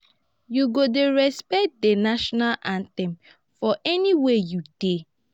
you go dey respect di national anthem for anywhere you dey.